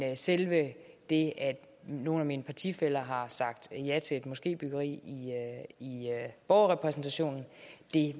selve det at nogle af mine partifæller har sagt ja til et moskébyggeri i borgerrepræsentationen